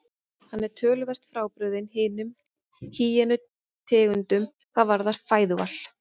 Hann er töluvert frábrugðinn hinum hýenu tegundunum hvað varðar fæðuval.